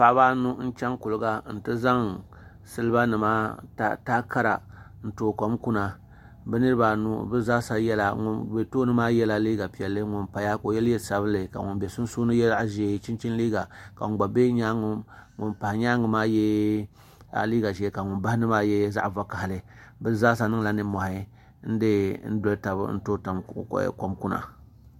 Paɣaba n chɛŋ kuliga n ti zaŋ siliba taha kara n tooi kom kuna bi niraba anu ŋun bɛ tooni maa yɛla liiga piɛlli ŋun paya ka o yɛ liiga sabinli ka ŋun bɛ sunsuuni yɛ zaɣ ʒiɛ chinchini liiga ka ŋun pa nyaangi maa yɛ liiga ʒiɛ ka ŋun bahandi maa zaɣ vakaɣali bi zaa sa niŋla nimmohi n tooi kom doli tabi kuna